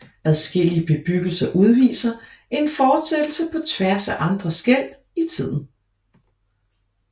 Adskillige bebyggelser udviser en fortsættelse på tværs af andre skel i tiden